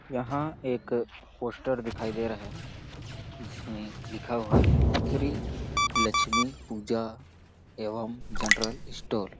यहाँ एक पोस्टर दिखाई दे रहा है जिसमें लिखा हुआ है श्री लक्ष्मी पूजा एवं जनरल स्टोर